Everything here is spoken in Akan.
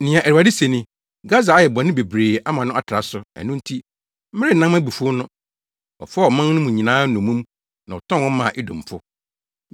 Nea Awurade se ni: “Gasa ayɛ bɔne bebree ama no atra so, ɛno nti, merennan mʼabufuw no. Ɔfaa ɔman mu no nyinaa nnommum na ɔtɔn wɔn maa Edomfo.